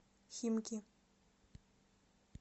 химки